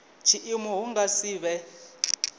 tshiimo hu nga si vhe